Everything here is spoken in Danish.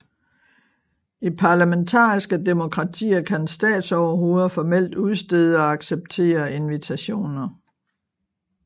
I parlamentariske demokratier kan statsoverhoveder formelt udstede og acceptere invitationer